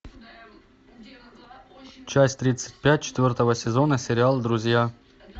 часть тридцать пять четвертого сезона сериал друзья